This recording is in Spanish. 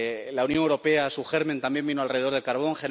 La Unión Europea, su germen, también vino alrededor del carbón